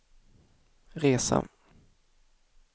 resa